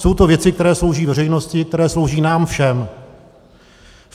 Jsou to věci, které slouží veřejnosti, které slouží nám všem.